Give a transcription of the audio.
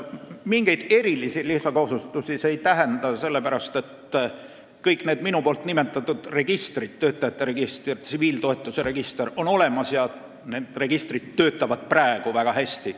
Mingeid erilisi lisakohustusi see ei tähenda, sest kõik need minu nimetatud registrid – töötamise register ja tsiviiltoetuse register – on juba olemas ja need töötavad praegu väga hästi.